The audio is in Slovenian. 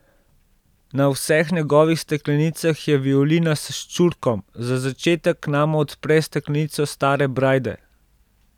Na vseh njegovih steklenicah je violina s ščurkom, za začetek nama odpre steklenico stare brajde.